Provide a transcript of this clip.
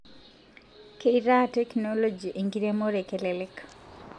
Keitaa teknoji enkiremore kelelek